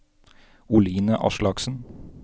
Oline Aslaksen